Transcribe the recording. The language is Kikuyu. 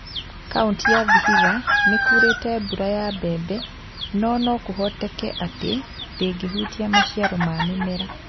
Kaunti ya Vihiga ni ku͂rete mbura ya mbebe, no no ku͂hoteke ati͂ ndi͂ngi͂hutia maciaro ma mi͂mera.